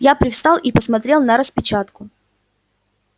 я привстал и посмотрел на распечатку